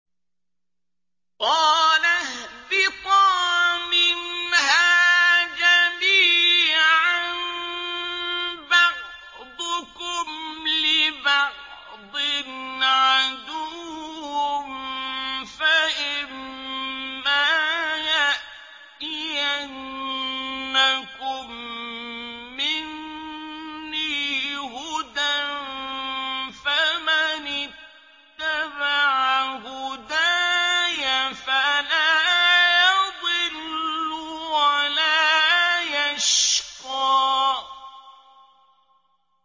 قَالَ اهْبِطَا مِنْهَا جَمِيعًا ۖ بَعْضُكُمْ لِبَعْضٍ عَدُوٌّ ۖ فَإِمَّا يَأْتِيَنَّكُم مِّنِّي هُدًى فَمَنِ اتَّبَعَ هُدَايَ فَلَا يَضِلُّ وَلَا يَشْقَىٰ